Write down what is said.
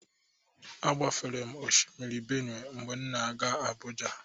Agbafere m Oshimiri Benue mgbe m na-aga Abuja.